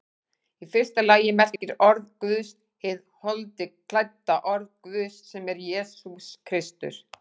Í fyrsta lagi merkir orð Guðs hið holdi klædda orð Guðs, sem er Jesús Kristur.